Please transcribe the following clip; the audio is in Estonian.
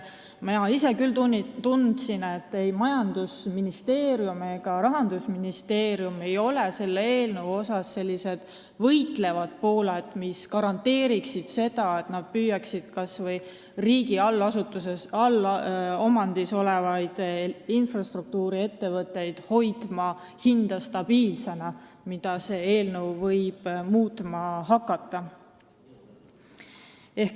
Mina ise küll tundsin, et ei majandusministeerium ega ka Rahandusministeerium ei ole selle eelnõu puhul need võitlevad pooled, mis garanteeriksid selle, et kas või riigi allomandis olevad infrastruktuuriettevõtted hoiaksid hinda stabiilsena.